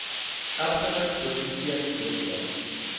erfenis biblioteek wese